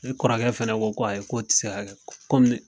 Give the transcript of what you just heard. Ne Kɔrɔkɛ fana ko ko ayi ko ti se ka kɛ komi.